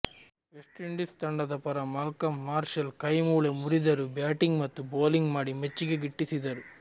West Indies ತಂಡದ ಪರ Malcolm Marshall ಕೈ ಮೂಳೆ ಮುರಿದರೂ ಬ್ಯಾಟಿಂಗ್ ಮತ್ತು ಬೌಲಿಂಗ್ ಮಾಡಿ ಮೆಚ್ಚುಗೆ ಗಿಟ್ಟಿಸಿದ್ದರು